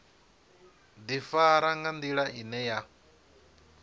ḓifara nga nḓila ine ya